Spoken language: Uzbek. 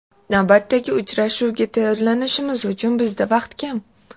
Navbatdagi uchrashuvga tayyorlanishimiz uchun bizda vaqt kam.